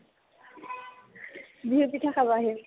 বিহু পিঠা খাব আহিম